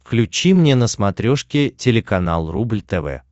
включи мне на смотрешке телеканал рубль тв